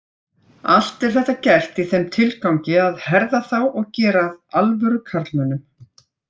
Allt er þetta gert í þeim tilgangi að herða þá og gera að alvöru karlmönnum.